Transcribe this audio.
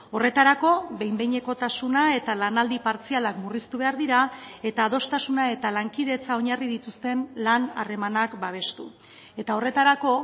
horretarako behin behinekotasuna eta lanaldi partzialak murriztu behar dira eta adostasuna eta lankidetza oinarri dituzten lan harremanak babestu eta horretarako